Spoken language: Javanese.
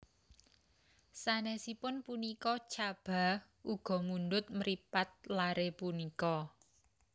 Sanesipun punika Chaba uga mundhut mripat lare punika